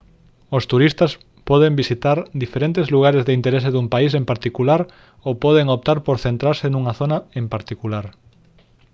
os turistas poden visitar diferentes lugares de interese dun país en particular ou poden optar por centrarse nunha zona en particular